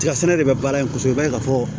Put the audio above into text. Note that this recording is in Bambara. Tiga sɛnɛ de bɛ baara in kɔ kosɛbɛ i b'a ye ka fɔ